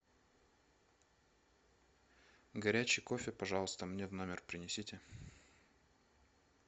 горячий кофе пожалуйста мне в номер принесите